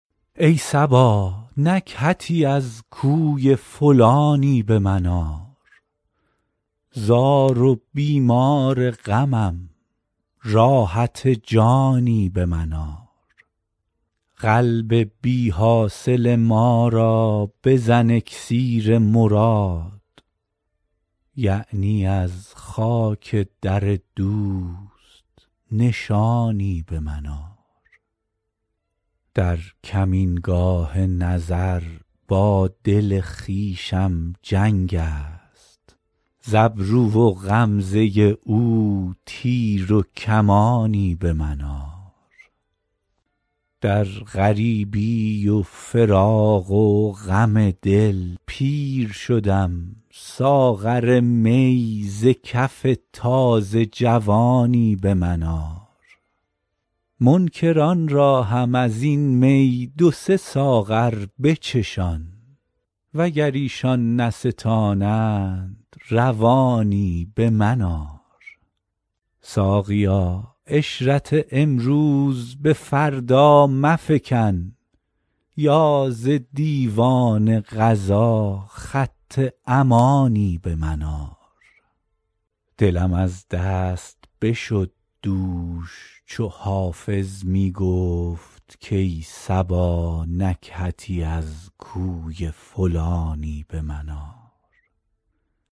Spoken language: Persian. ای صبا نکهتی از کوی فلانی به من آر زار و بیمار غمم راحت جانی به من آر قلب بی حاصل ما را بزن اکسیر مراد یعنی از خاک در دوست نشانی به من آر در کمینگاه نظر با دل خویشم جنگ است ز ابرو و غمزه او تیر و کمانی به من آر در غریبی و فراق و غم دل پیر شدم ساغر می ز کف تازه جوانی به من آر منکران را هم از این می دو سه ساغر بچشان وگر ایشان نستانند روانی به من آر ساقیا عشرت امروز به فردا مفکن یا ز دیوان قضا خط امانی به من آر دلم از دست بشد دوش چو حافظ می گفت کای صبا نکهتی از کوی فلانی به من آر